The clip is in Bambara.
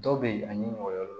Dɔw be yen ani mɔgɔ wɛrɛ